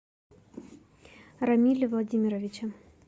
рамиле владимировиче